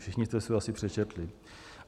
Všichni jste si ho asi přečetli.